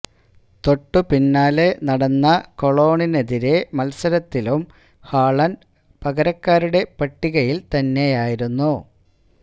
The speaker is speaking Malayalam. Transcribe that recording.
തൊട്ടു പിന്നാലെ നടന്ന കൊളോണിനെതിരായ മത്സരത്തിലും ഹാളണ്ട് പകരക്കാരുടെ പട്ടികയില് തന്നെയായിരുന്നു